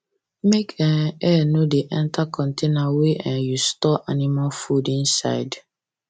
make um air no da enter container wey um you store animal food inside